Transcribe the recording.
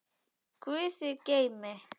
Guð þig geymi.